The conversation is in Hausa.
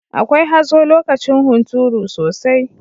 Akwai hazo lokacin hunturu sosai.